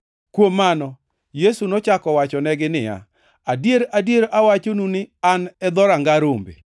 Kuom mano, Yesu nochako owachonegi niya, “Adier, adier, awachonu ni an e dhoranga rombe.